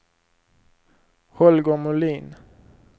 Holger Molin